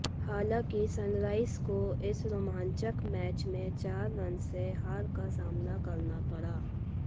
हालांकि सनराइजर्स को इस रोमांचक मैच में चार रन से हार का सामना करना पड़ा